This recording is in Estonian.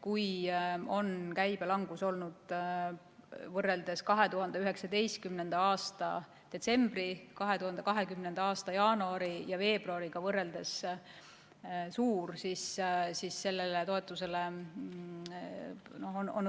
Kui käibe langus on võrreldes 2019. aasta detsembri ning 2020. aasta jaanuari ja veebruariga olnud suur, siis on toetusele